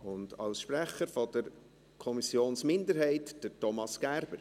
Als Sprecher der Kommissionsminderheit, Thomas Gerber.